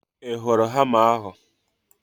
I hụrụ hama ahu?